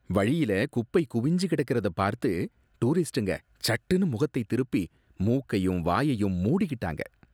வழியில குப்பை குவிஞ்சு கிடக்கிறத பார்த்து டூரிஸ்டுங்க சட்டுனு முகத்தை திருப்பி மூக்கையும் வாயையும் மூடிக்கிட்டாங்க